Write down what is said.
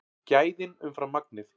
Gæðin umfram magnið